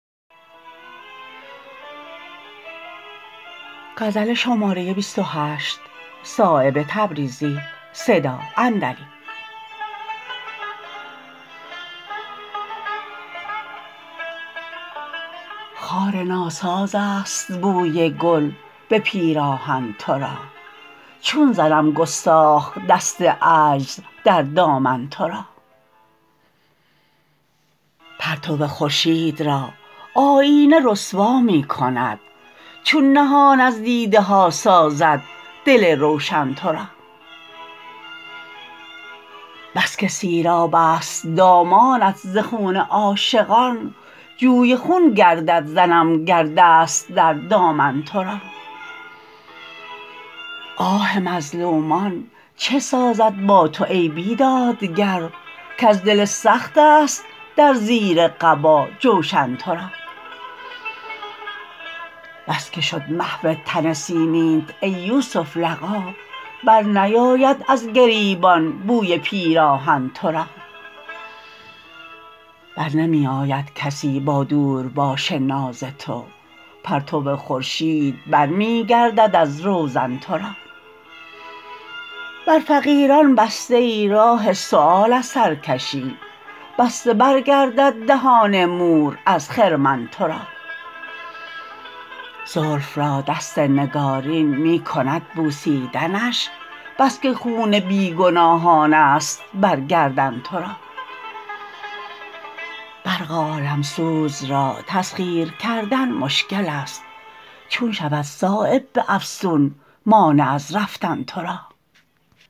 خار ناسازست بوی گل به پیراهن ترا چون زنم گستاخ دست عجز در دامن ترا پرتو خورشید را آیینه رسوا می کند چون نهان از دیده ها سازد دل روشن ترا بس که سیراب است دامانت ز خون عاشقان جوی خون گردد زنم گر دست در دامن ترا آه مظلومان چه سازد با تو ای بیدادگر کز دل سخت است در زیر قبا جوشن ترا بس که شد محو تن سیمینت ای یوسف لقا برنیاید از گریبان بوی پیراهن ترا برنمی آید کسی با دورباش ناز تو پرتو خورشید برمی گردد از روزن ترا بر فقیران بسته ای راه سؤال از سرکشی بسته برگردد دهان مور از خرمن ترا زلف را دست نگارین می کند بوسیدنش بس که خون بی گناهان است بر گردن ترا برق عالمسوز را تسخیر کردن مشکل است چون شود صایب به افسون مانع از رفتن ترا